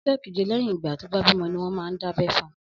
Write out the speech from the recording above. Ọjọ kéjé lẹyin igbà tọ bà bimọ niwọn mà n dábẹ̀ fùn